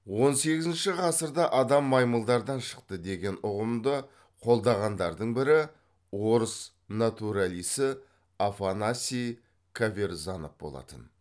он сегізінші ғасырда адам маймылдардан шықты деген ұғымды қолдағандардың бірі орыс натуралисті афанасий каверзанов болатын